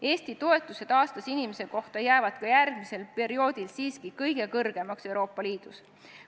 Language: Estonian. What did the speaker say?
Eesti toetused inimese kohta aastas jäävad ka järgmisel perioodil siiski kõige suuremaks Euroopa Liidus.